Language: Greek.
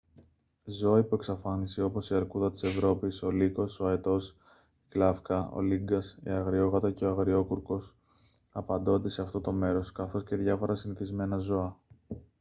ζώα υπό εξαφάνιση όπως η αρκούδα της ευρώπης ο λύκος ο αετός η γλαύκα ο λύγκας η αγριόγατα και o αγριόκουρκος απαντώνται σε αυτό το μέρος καθώς και διάφορα συνηθισμένα ζώα